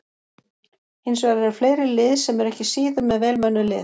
Hins vegar eru fleiri lið sem eru ekki síður með vel mönnuð lið.